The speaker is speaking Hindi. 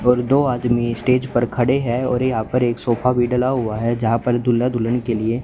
और दो आदमी स्टेज पर खड़े हैं और यहां पर एक सोफा भी डला हुआ है जहां पर दूल्हा दुल्हन के लिए।